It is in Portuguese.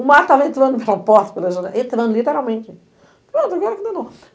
O mar estava entrando pela porta da janela, entrando literalmente. Pronto, agora que danou